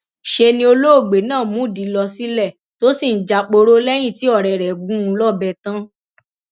ṣe ni olóògbé náà múdìí lọ sílé tó sì ń jáporo lẹyìn tí ọrẹ rẹ gún un lọbẹ tán